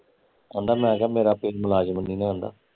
ਕਹਿੰਦਾ ਮੈਂ ਕਿਹਾਂ ਮੇਰਾ ਪੈ ਮੁਲਾਜਮ ਨੀ ਨਾ ਕਹਿੰਦਾ